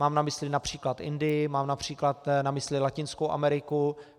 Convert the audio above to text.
Mám na mysli například Indii, mám například na mysli Latinskou Ameriku.